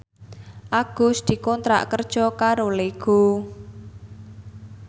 Agus dikontrak kerja karo Lego